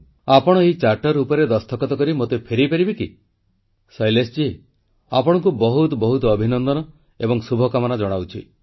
ଆପଣ ଏହି ଚାର୍ଟର ଉପରେ ଦସ୍ତଖତ କରି ମୋତେ ଫେରାଇପାରିବେ କି ଶୈଳେଶଜୀ ଆପଣଙ୍କୁ ବହୁତ ବହୁତ ଅଭିନନ୍ଦନ ଏବଂ ଶୁଭକାମନା ଜଣାଉଛି